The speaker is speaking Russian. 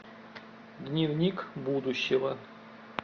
дневник будущего